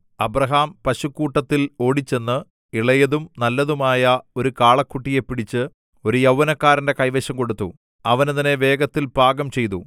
Abraham പശുക്കൂട്ടത്തിൽ ഓടിച്ചെന്ന് ഇളയതും നല്ലതുമായ ഒരു കാളക്കുട്ടിയെ പിടിച്ച് ഒരു യൗവനക്കാരന്റെ കൈവശം കൊടുത്തു അവൻ അതിനെ വേഗത്തിൽ പാകം ചെയ്തു